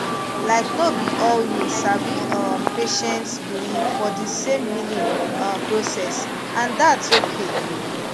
laik no bi all you sabi um patients believe for di same healing um process and thats okay